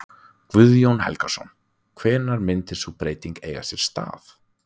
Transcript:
Guðjón Helgason: Hvenær myndi sú breyting eiga sér stað?